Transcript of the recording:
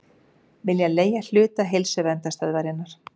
Vilja leigja hluta Heilsuverndarstöðvarinnar